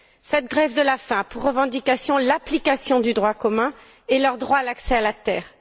Cette grève de la faim a pour revendication l'application du droit commun et leur droit à l'accès à la terre.